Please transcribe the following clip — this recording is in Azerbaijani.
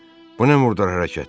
Bu nə murdar hərəkətdir?